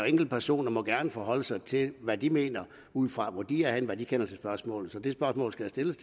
enkeltpersoner gerne forholde sig til hvad de mener ud fra hvor de er henne og hvad de kender til spørgsmålet så det spørgsmål skal stilles